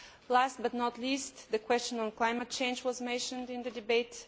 Last but not least, the question of climate change was mentioned in the debate.